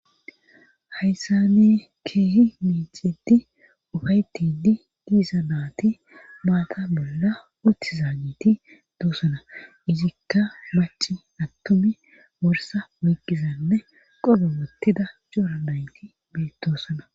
Hayssa ne keehi miicidi ufaytidi diisa naati maata bolla utti zaanniti doosana izikka maci attomi worsa woykizanne qobo wottida joora naynti beettoosana